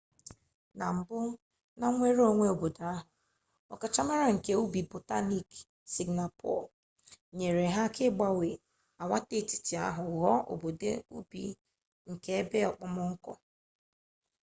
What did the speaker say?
na mbụ na nnwereonwe mba ahụ ọkachamara nke ubi botaniik sịngapọọ nyere ha aka ịgbanwe agwaetiti ahụ ghụọ obodo ubi nke ebe okpomọkụ